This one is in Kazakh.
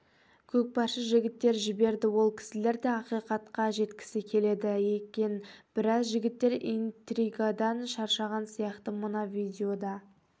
көкпаршы жігіттер жіберді ол кісілер де ақиқатқа жеткісі келеді екенбіраз жігіттер интригадан шаршаған сияқты мына видеода